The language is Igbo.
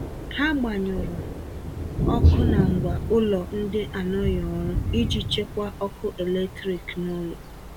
Ha gbanyụrụ ọkụ na ngwa ụlọ ndị anọghị ọrụ iji chekwaa ọkụ eletrik n'ụlọ.